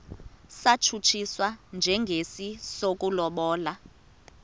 satshutshiswa njengesi sokulobola